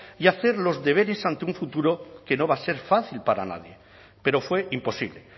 y hacer los deberes ante un futuro que no va a ser fácil para nadie pero fue imposible